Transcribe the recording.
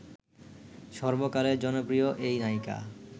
সর্বকালের জনপ্রিয় এই নায়িকা